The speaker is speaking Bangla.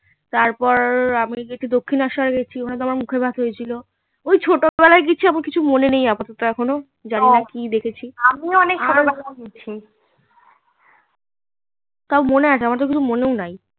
তারপর আমি গেছি দক্ষিনেশ্বর গেছি ওখানে তো আমার মুখে ভাতে হয়েছিল ওই ছোট্টবেলায় কিছু আমার কিছু মনে নেই আপাদত তাও মনে আছে আমার তো কিছু মনেও নেই